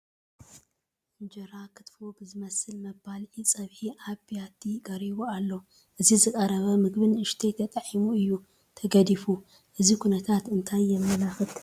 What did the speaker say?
እንጀራ ክትፎ ብዝመስል መባልዒ ፀብሒ ኣብ ቢያቲ ቀሪቡ ኣሎ፡፡ እዚ ዝቐረበ ምግቢ ንኡሽተይ ተጣዒሙ እዩ ተገዲፉ፡፡ እዚ ኩነታት እንታይ የመላኽት?